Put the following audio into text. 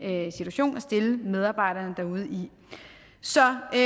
situation at stille medarbejderne derude i så det